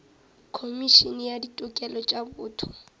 khomišene ya ditokelo tša botho